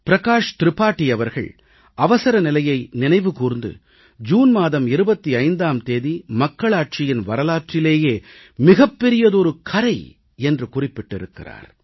பிரகாஷ் திரிபாடி அவர்கள் அவசரநிலையை நினைவுகூர்ந்து ஜூன் மாதம் 25ஆம் தேதி மக்களாட்சியின் வரலாற்றிலேயே மிகப்பெரியதொரு கறை என்று குறிப்பிட்டிருக்கிறார்